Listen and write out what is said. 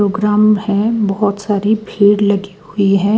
Programme है बहुत सारी भीड़ लगी हुई है।